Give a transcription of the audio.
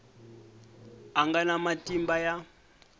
a nga na matimba ya